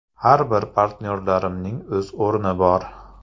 Har bir partnyorimning o‘z o‘rni bor.